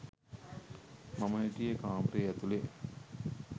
මම හිටියෙ කාමරේ ඇතුළෙ.